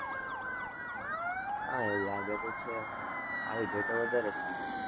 હા એવું લાગે તો છે. આવી જાય તો વધારે સારું,